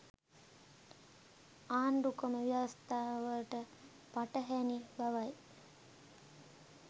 ආණ්ඩුක්‍රම ව්‍යවස්ථාවට පටහැණි බවයි